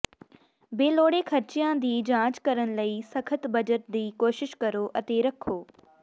ਬੇਲੋੜੇ ਖ਼ਰਚਿਆਂ ਦੀ ਜਾਂਚ ਕਰਨ ਲਈ ਸਖਤ ਬਜਟ ਦੀ ਕੋਸ਼ਿਸ਼ ਕਰੋ ਅਤੇ ਰੱਖੋ